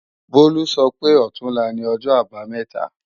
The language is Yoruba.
Bólú sọ pé ọ̀túnla ni O̩jọ́-Àbamé̩ta